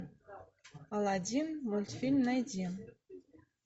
алладин мультфильм найди